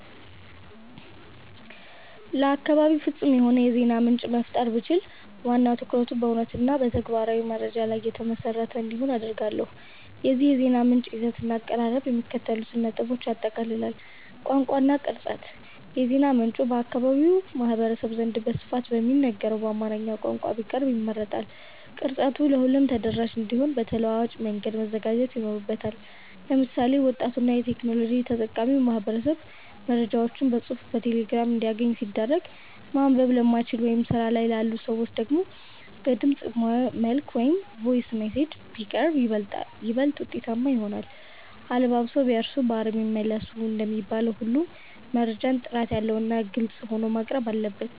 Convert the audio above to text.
ለአካባቤ ፍጹም የሆነ የዜና ምንጭ መፍጠር ብችል፣ ዋና ትኩረቱ በእውነትና በተግባራዊ መረጃ ላይ የተመሰረተ እንዲሆን አደርጋለሁ። የዚህ የዜና ምንጭ ይዘትና አቀራረብ የሚከተሉትን ነጥቦች ያጠቃልላል፦ ቋንቋ እና ቅርጸት፦ የዜና ምንጩ በአካባቢው ማህበረሰብ ዘንድ በስፋት በሚነገረው በአማርኛ ቋንቋ ቢቀርብ ይመረጣል። ቅርጸቱም ለሁሉም ተደራሽ እንዲሆን በተለዋዋጭ መንገድ መዘጋጀት ይኖርበታል። ለምሳሌ፣ ወጣቱና የቴክኖሎጂ ተጠቃሚው ማህበረሰብ መረጃዎችን በጽሑፍ በቴሌግራም እንዲያገኝ ሲደረግ፣ ማንበብ ለማይችሉ ወይም ስራ ላይ ላሉ ሰዎች ደግሞ በድምፅ መልዕክት (Voice Messages) ቢቀርብ ይበልጥ ውጤታማ ይሆናል። "አለባብሰው ቢያርሱ በአረም ይመለሱ" እንደሚባለው ሁሉ፣ መረጃው ጥራት ያለውና ግልጽ ሆኖ መቅረብ አለበት።